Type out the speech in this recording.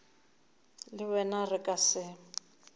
le wena re ka se